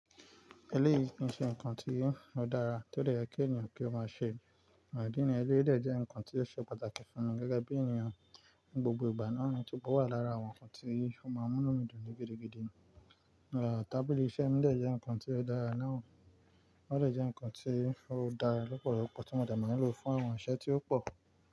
Eléyìí kì í ṣe nǹkan tí ó dára tó dè yẹ́ kí ènìyàn kí ó máa ṣe. Idi niyen, o dẹ̀ jẹ́ nǹkan tí ó ṣe pàtàkì fún mi gẹ́gẹ́ bí ènìyàn ní gbogbo ìgbà náà tí ò wà lára àwọn nǹkan tí ó máa mú inu mi dùn ní gidígidí. Àá, tábìlì iṣẹ́ mi dẹ̀ jẹ́ nǹkan tí ó dára náà, ó dẹ̀ jẹ́ nǹkan tí ó dára lọ́pọ̀lọpọ̀ tí mo de maa n lò fún àwọn iṣẹ́ tí ó pọ̀